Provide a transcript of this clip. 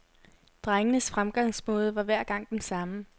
Drengens fremgangsmåde var hver gang den samme.